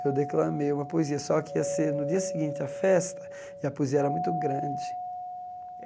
Eu declamei uma poesia, só que ia ser no dia seguinte à festa, e a poesia era muito grande.